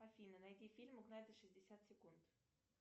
афина найди фильм угнать за шестьдесят секунд